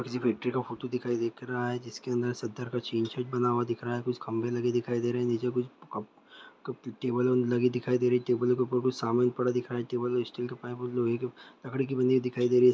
किसी फैक्ट्री का फोटो दिखाई दिख रहा है जिसके अंदर सुन्दर का चैनशिट बना हुआ दिख रहा है कुछ खम्भे लगे दिखाई दे रहे है नीचे कुछ क-क टेबलो लगे दिखाई दे रहे है टेबल के ऊपर कुछ सामान पड़ा दिख रहा है टेबल और स्टील का पाइप और लोहे के लकड़ी के बने हुए दिखाई दे रही है।